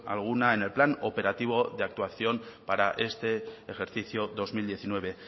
alguna en el plan operativo de actuación para este ejercicio dos mil diecinueve